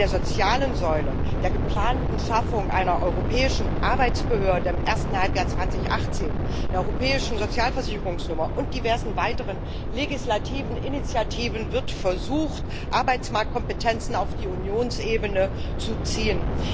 Mit der sozialen Säule, der geplanten Schaffung einer europäischen Arbeitsbehörde im ersten Halbjahr 2018, der europäischen Sozialversicherungsnummer und diversen weiteren legislativen Initiativen wird versucht, Arbeitsmarktkompetenzen auf die Unionsebene zu ziehen.